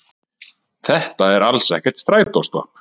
Þetta er alls ekkert strætóstopp